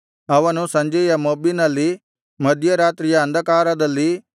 ಅವನು ಸಂಜೆಯ ಮೊಬ್ಬಿನಲ್ಲಿ ಮಧ್ಯರಾತ್ರಿಯ ಅಂಧಕಾರದಲ್ಲಿ